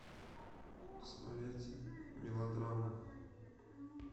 смотреть мелодраму